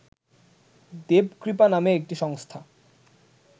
দেবকৃপা নামে একটি সংস্থা